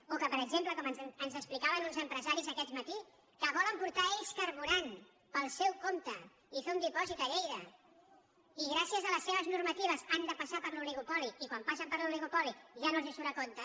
o que per exemple com ens explicaven uns empresaris aquest matí que volen portar ells carburant pel seu compte i fer un dipòsit a lleida i gràcies a les seves normatives han de passar per l’oligopoli i quan passen per l’oligopoli ja no els surt a compte